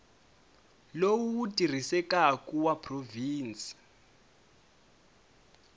lowu wu tirhisekaku wa provhinsi